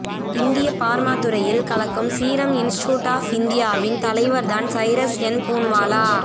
இந்திய பார்மா துறையில் துறையில் கலக்கும் சீரம் இன்ஸ்டியூட் ஆஃப் இந்தியாவின் தலைவர் தான் சைரஸ் எஸ் பூன்வாலா